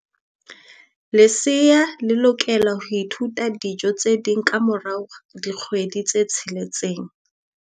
Lesea le lokela ho ithuta dijo tse ding ka mora dikgwedi tse tsheletseng.